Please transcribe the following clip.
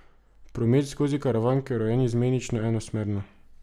Promet skozi predor Karavanke je urejen izmenično enosmerno.